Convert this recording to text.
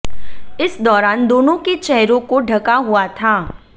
इस दौरान दोनों के चेहरों को ढका हुआ था